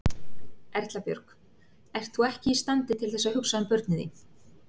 Erla Björg: Ert þú ekki í standi til þess að hugsa um börnin þín?